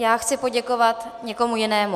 Já chci poděkovat někomu jinému.